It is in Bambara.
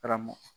Karamɔgɔ